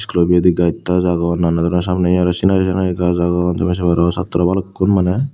klo pijedi gach tach agon nanan doronor samnedi sinari sinari gach agon tumi se paro satro balukkun maney.